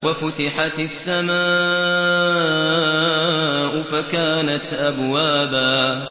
وَفُتِحَتِ السَّمَاءُ فَكَانَتْ أَبْوَابًا